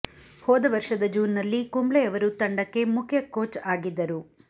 ಹೋದ ವರ್ಷದ ಜೂನ್ನಲ್ಲಿ ಕುಂಬ್ಳೆ ಅವರು ತಂಡಕ್ಕೆ ಮುಖ್ಯ ಕೋಚ್ ಆಗಿದ್ದರು